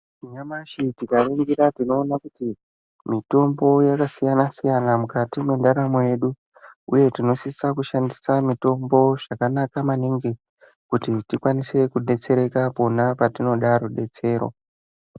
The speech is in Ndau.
Nyamashi tikaningira tinoona kuti ,mutombo yakasiyana-siyana mukati mwendaramo yedu, uye tinosisa kushandisa mitombo zvakanaka maningi ,kuti tikwanise kudetsereka pona patinoda rudetsero.